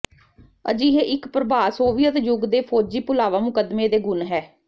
ਅਜਿਹੇ ਇੱਕ ਪ੍ਰਭਾਵ ਸੋਵੀਅਤ ਯੁੱਗ ਦੇ ਫੌਜੀ ਭੁਲਾਵਾ ਮੁਕੱਦਮੇ ਦੇ ਗੁਣ ਹੈ